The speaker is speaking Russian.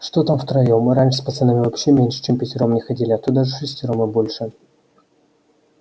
что там втроём мы раньше с пацанами вообще меньше чем впятером не ходили а то даже вшестером и больше